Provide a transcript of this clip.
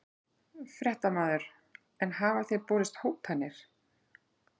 Fréttamaður: En hafa þér borist hótanir?